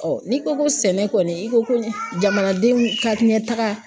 n'i ko ko sɛnɛ kɔni i ko ko jamanadenw ka ɲɛtaga